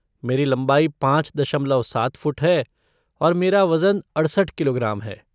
मेरी लंबाई पाँच दशमलव सात फ़ुट है और मेरा वजन अड़सठ किलोग्राम है।